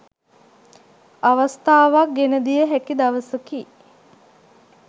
අවස්ථාවක් ගෙනදිය හැකි දවසකි.